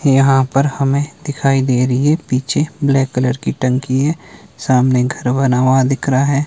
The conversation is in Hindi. यहां पर हमें दिखाई दे रही है पीछे ब्लैक कलर की टंकी है सामने घर बना हुआ दिख रहा है।